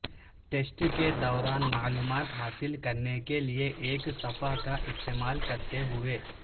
test کے دوران معلومات حاصل کرنے کے لئے ایک صفحہ کا استعمال کرتے ہوئے